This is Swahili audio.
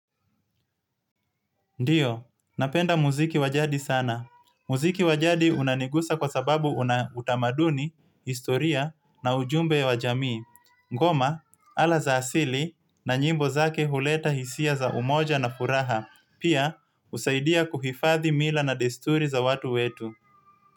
Ndiyo, napenda muziki wa jadi sana. Muziki wa jadi unanigusa kwa sababu una utamaduni, historia na ujumbe wa jamii. Ngoma, ala za asili na nyimbo zake huleta hisia za umoja na furaha. Pia, usaidia kuhifadhi mila na desturi za watu wetu.